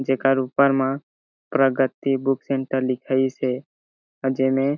जेकर ऊपर म प्रगति बुक सेंटर लिखाईस हे अउ जेमे--